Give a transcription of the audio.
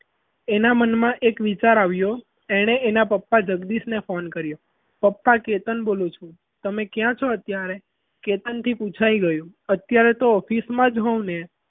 એના મનમાં એક વિચાર આવ્યો એણે એના પપ્પા જગદીશ ને phone કર્યો પપ્પા કેતન બોલું છું તમે ક્યાં છો અત્યારે આરામથી પૂછાઈ ગયું અત્યારે તો office માં જ હોઉ ને